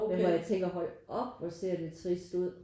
Men hvor jeg tænker hold op hvor ser det trist ud